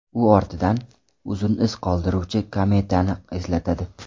U ortidan uzun iz qoldiruvchi kometani eslatadi.